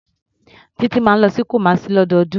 Títí máa ń lọ sí Kumasi lọ́dọọdún.